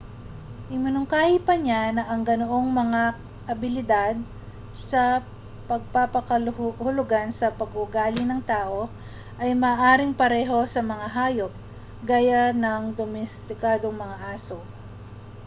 iminungkahi pa niya na ang ganoong mga abilidad sa pagpapakahulugan sa pag-uugali ng tao ay maaaring pareho sa mga hayop gaya ng domestikadong mga aso